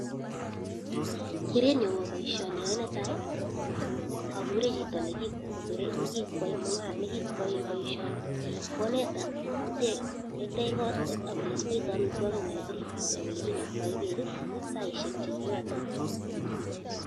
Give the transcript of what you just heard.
Kerenyu ko baishani ayae neatai, akure chito nekikwaye baishoni, koneta ketech kot, ako olikebeyte amitwokik ako olekiriptoi ak ole kinaka bek, ak saisek che kiyate.